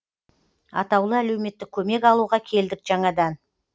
атаулы әлеуметтік көмек алуға келдік жаңадан